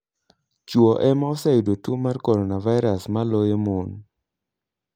Chwo ema oseyudo tuo mar coronavirus moloyo mon.